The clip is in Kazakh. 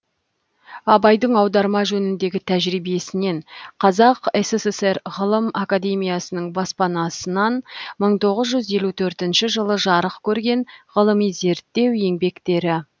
абайдың аударма жөніндегі тәжірибесінен қазақ сср ғылым академиясының баспасынан бір мың тоғыз жүз елу төртінші жылы жарық көрген ғылыми зерттеу еңбектері